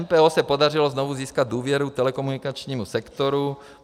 MPO se podařilo znovu získat důvěru telekomunikačnímu sektoru.